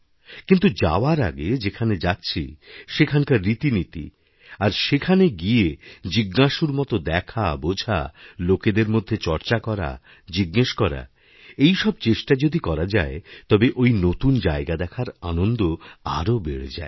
কিন্তু যাওয়ার আগে যেখানে যাচ্ছি ওখানকার রীতিনীতি আর সেখানে গিয়েজিজ্ঞাসুর মতো দেখা বোঝা লোকেদের মধ্যে চর্চা করা জিজ্ঞেস করা এই সব চেষ্টাযদি করা যায় তবে ওই নতুন জায়গা দেখার আনন্দ আরও বেড়ে যায়